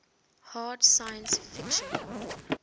hard science fiction